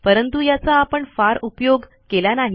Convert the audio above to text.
परंतु याचा आपण फार उपयोग केला नाही